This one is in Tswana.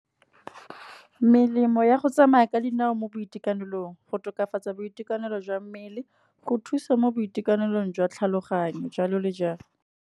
Melemo ya go tsamaya ka dinao mo boitekanelong. Go tokafatsa boitekanelo jwa mmele, go thusa mo boitekanelong jwa tlhaloganyo jalo le jalo.